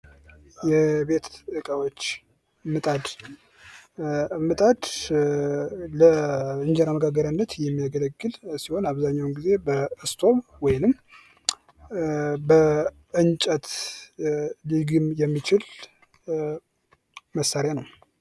የቤት እቃዎች ምጣድ:- ምጣድ ለእንጀራ መጋገሪያነት የሚያገለግል ሲሆን አብዛኛዉን ጊዜ አብዛኛዉን ጊዝ በስቶቭ ወይም በእንጨት ሊግም የሚችል መሳሪያ ነዉተ